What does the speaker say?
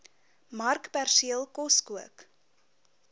markperseel kos kook